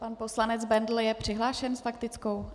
Pan poslanec Bendl je přihlášen s faktickou?